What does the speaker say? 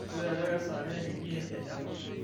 tolikioki ajo kesaaja teidie te japan